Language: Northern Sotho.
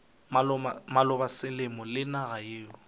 maloba selemo le naga yeo